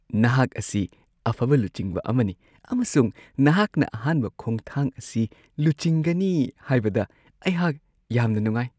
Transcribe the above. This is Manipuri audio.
ꯅꯍꯥꯛ ꯑꯁꯤ ꯑꯐꯕ ꯂꯨꯆꯤꯡꯕ ꯑꯃꯅꯤ ꯑꯃꯁꯨꯡ ꯅꯍꯥꯛꯅ ꯑꯍꯥꯟꯕ ꯈꯣꯡꯊꯥꯡ ꯑꯁꯤ ꯂꯨꯆꯤꯡꯒꯅꯤ ꯍꯥꯏꯕꯗ ꯑꯩꯍꯥꯛ ꯌꯥꯝꯅ ꯅꯨꯡꯉꯥꯏ ꯫